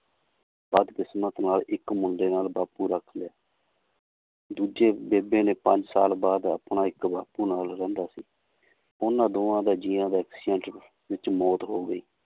ਪਰ ਕਿਸਮਤ ਨਾਲ ਇੱਕ ਮੁੰਡੇ ਨਾਲ ਬਾਪੂ ਰੱਖ ਲਿਆ ਦੂਜੇ ਬੇਬੇ ਨੇ ਪੰਜ ਸਾਲ ਬਾਅਦ ਆਪਣਾ ਇੱਕ ਬਾਪੂ ਨਾਲ ਰਹਿੰਦਾ ਸੀ ਉਹਨਾਂ ਦੋਹਾਂ ਦਾ ਜੀਆਂਂ ਦਾ accident ਵਿੱਚ ਮੌਤ ਹੋ ਗਈ l